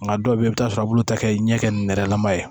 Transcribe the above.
Nka dɔw bɛ yen i bɛ t'a sɔrɔ olu ta kɛ ɲɛ kɛ nɛrɛlama ye